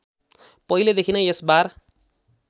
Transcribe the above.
पहिलेदेखि नै यसबार